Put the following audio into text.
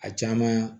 A caman